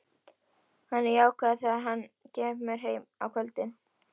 Hann er jákvæður þegar hann kemur heim á kvöldin.